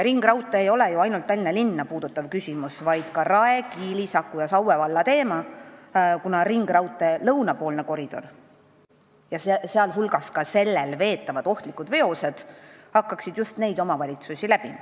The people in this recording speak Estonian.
Ringraudtee ei ole ju ainult Tallinna linna puudutav küsimus, vaid ka Rae, Kiili, Saku ja Saue valla teema, kuna lõunapoolne koridor, kus veetakse ka ohtlikke veoseid, hakkaks ju ka neid omavalitsusi läbima.